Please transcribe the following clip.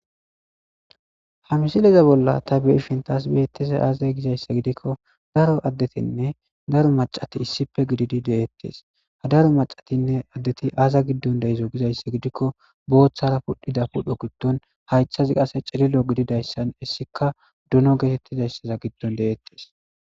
ha misileza bolla ta be'ishn taas beetteze aazay gizayssa gidikko daro addetinne daro macati issippe gididi deettes hadaro macatinne addeti aaza giddon deizo gizayssa gidikko booththara pudhdhida pudho giddon haythazi qase cililo gididayssan issika duno geetettizayssaza giddon deettes